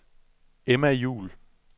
Emma Juhl